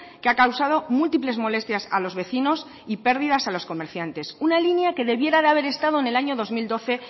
que ha causado múltiples molestias a los vecinos y pérdidas a los comerciantes una línea que debiera haber estado en el año dos mil doce